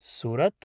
Surat